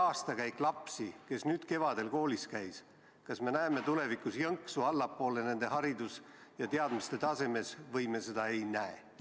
Kas me näeme tulevikus jõnksu allapoole selle aastakäigu laste, kes kevadel koolis käisid, hariduse ja teadmiste tasemes või me seda ei näe?